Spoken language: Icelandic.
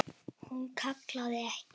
Hún kallar ekki: